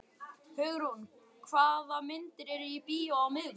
Hugrún, hvaða myndir eru í bíó á miðvikudaginn?